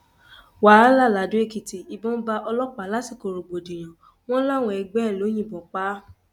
wàhálà ladọèkìtì ìbọn bá ọlọpàá lásìkò rògbòdìyàn wọn làwọn ẹgbẹ ẹ ló yìnbọn pa á